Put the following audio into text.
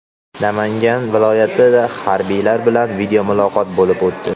Namangan viloyatida harbiylar bilan videomuloqot bo‘lib o‘tdi.